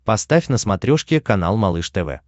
поставь на смотрешке канал малыш тв